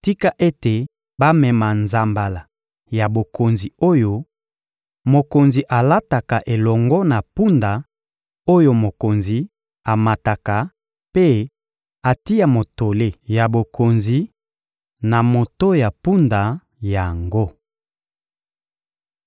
tika ete bamema nzambala ya bokonzi oyo mokonzi alataka elongo na mpunda oyo mokonzi amataka mpe batia motole ya bokonzi na moto ya mpunda yango.